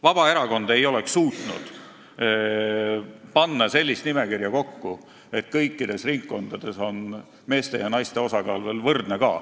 Vabaerakond ei oleks suutnud koostada sellist nimekirja, et kõikides ringkondades on meeste ja naiste osakaal veel võrdne ka.